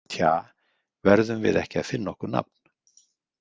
Tja, verðum við ekki að finna okkur nafn?